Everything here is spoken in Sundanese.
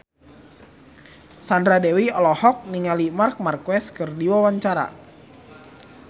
Sandra Dewi olohok ningali Marc Marquez keur diwawancara